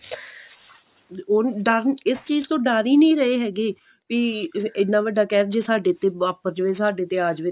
ਉਹ ਡਰ ਇਸ ਚੀਜ਼ ਤੋਂ ਡਰ ਹੀ ਨਹੀਂ ਰਹੇ ਹੈਗੇ ਵੀ ਇੰਨਾ ਵੱਡਾ ਕਹਿਰ ਜੇ ਸਾਡੇ ਤੇ ਵਾਪਰ ਜਾਵੇ ਸਾਡੇ ਤੇ ਆ ਜਵੇ